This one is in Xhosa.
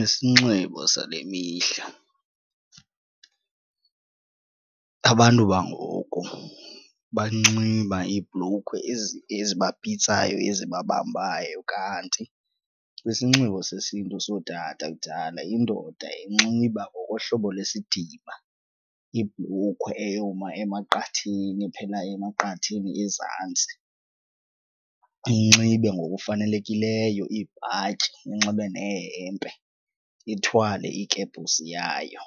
Isinxibo sale mihla abantu bangoku banxiba iibhlukhwe ezibapitsayo ezibabambayo kanti kwisinxibo sesiNtu sootata kudala indoda yayinxiba ngokohlobo lwesidima ibhlukhwe eyoma emaqatheni ephela emaqatheni ezantsi, inxibe ngokufanelekileyo ibhatyi inxibe nehempe ithwale ikepusi yayo